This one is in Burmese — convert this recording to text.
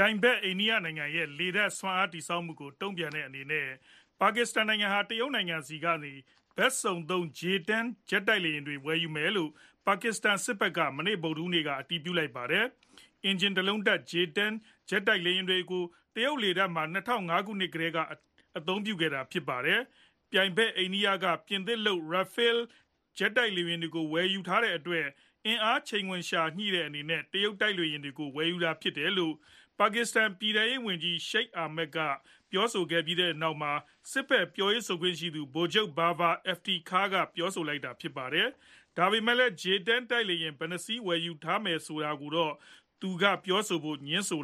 ြိုင်ဖက် အိန္ဒိယနိုင်ငံရဲ့ လေတပ်စွမ်းအားတည်ဆောက်မှုကို တုံ့ပြန်တဲ့အနေနဲ့ ပါကစ္စတန်နိုင်ငံဟာ တရုတ်နိုင်ငံဆီကနေ ဘက်စုံသုံး J -10 ဂျက်တိုက်လေယာဉ်တွေကို ဝယ်ယူမယ်လို့ ပါကစ္စတန်စစ်ဖက်က မနေ့ ဗုဒ်ဓဟူးနေ့ အတည်ပြုလိုက်ပါတယ်။ အင်ဂျင်တလုံးတပ် J-10 ဂျက်တိုက်လေယာဉ်တွေကို တရုတ်လေတပ်မှာ ၂ဝဝ၅ ခုနှစ်ကတည်းက အသုံးပြုခဲ့တာဖြစ်ပါတယ်။ ပြိုင်ဖက် အိန္ဒိယနိုင်ငံက ပြင်သစ်လုပ် Rafale တိုက်လေယာဉ်တွေကိုဝယ်ယူထားတဲ့အတွက် အင်အားချိန်ခွင်ရှာညှိတဲ့အနေနဲ့ တရုတ်တိုက်လေယာဉ်တွေကို ဝယ်ယူတာဖြစ်တယ်လို့ ပါကစ္စတန်ပြည်ထဲရေးဝန်ကြီး Sheikh Rasheed Ahmad က ပြောဆိုခဲ့ပြီးနောက် စစ်ဖက်ပြောခွင့်ရှိသူ ဗိုလ်ချုပ် Babar Iftikhar က ပြောဆိုလိုက်တာဖြစ်ပါတယ်။ဒါပေမယ့်လည်း J-10 တိုက်လေယာဉ်ဘယ်နှစ်စီးဝယ်ယူထားတယ်ဆိုတာကိုတော့ သူကပြောဆိုဖို့ ငြင်းဆို